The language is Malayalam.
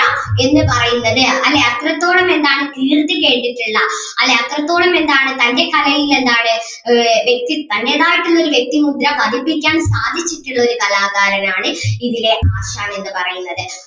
എന്ന് പറയുന്നത് അല്ലേ അത്രത്തോളം എന്താണ് കീർത്തി ചെയ്തിട്ടുള്ള അല്ലേ അത്രത്തോളം എന്താണ് തൻ്റെ കലയെ എന്താണ് ആഹ് വ്യക്തി തന്റേതായിട്ട് ഉള്ള ഒരു വ്യക്തിമുദ്ര പതിപ്പിക്കാൻ സാധിച്ചിട്ടുള്ള ഒരു കലാകാരൻ ആണ് ഇതിലേ ആശാൻ എന്ന് പറയുന്നത്.